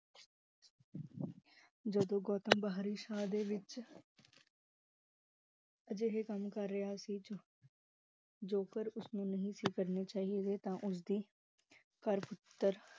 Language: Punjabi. ਜਦੋ ਗੌਤਮ ਬਾਰਿਸ਼ਾਂ ਦੇ ਵਿਚ , ਅਜੇਹੇ ਕੰਮ ਕਰ ਰਿਹਾ ਸੀ ਜੋ ਕਰ ਉਸਨੂੰ ਨਹੀ ਸੀ ਕਰਨਾ ਚਾਹੀਦੇ ਤਾ ਉਸਦੀ